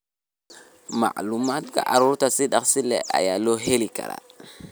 Macluumaadka carruurta si dhakhso leh ayaa loo heli karaa.